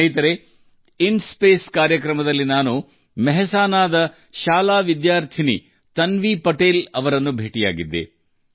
ಸ್ನೇಹಿತರೇ ಇನ್ಸ್ಪೇಸ್ ಕಾರ್ಯಕ್ರಮದಲ್ಲಿ ನಾನು ಮೆಹ್ಸಾನಾ ಶಾಲೆಯ ವಿದ್ಯಾರ್ಥಿನಿ ಬೇಟಿ ತನ್ವಿ ಪಟೇಲ್ ಅವರನ್ನು ಭೇಟಿಯಾಗಿದ್ದೆ